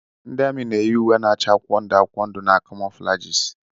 Ndị ami na-eyi uwe mwụda na-acha akwụkwọ ndụ akwụkwọ ndụ na camouflages.